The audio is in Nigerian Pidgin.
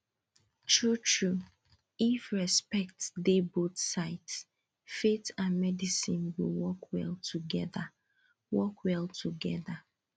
truetrue if respect dey both sides faith and medicine go work well together work well together